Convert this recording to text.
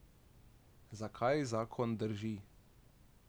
Zakaj zakon drži?